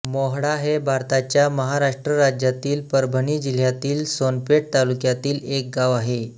मोहळा हे भारताच्या महाराष्ट्र राज्यातील परभणी जिल्ह्यातील सोनपेठ तालुक्यातील एक गाव आहे